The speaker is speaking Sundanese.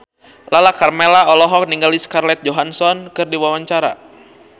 Lala Karmela olohok ningali Scarlett Johansson keur diwawancara